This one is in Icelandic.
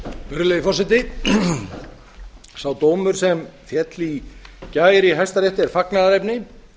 virðulegi forseti sá dómur sem féll í gær í hæstarétti er fagnaðarefni